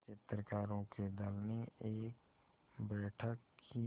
चित्रकारों के दल ने एक बैठक की